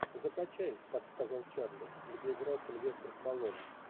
закачай так сказал чарли где играл сильвестр сталлоне